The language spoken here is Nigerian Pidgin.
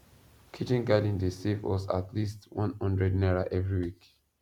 kitchen garden dey save us at least onehundred naira every week